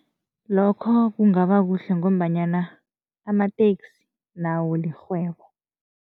Lokho kungaba kuhle ngombanyana amateksi nawo lirhwebo.